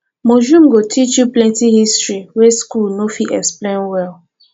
museum go teach you plenty history wey school no dey fit explain well